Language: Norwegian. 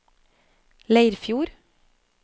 Leirfjord